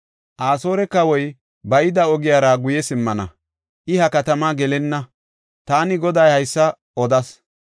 Asoore kawoy ba yida ogiyara guye simmana; I ha katama gelenna. Taani Goday haysa odas.’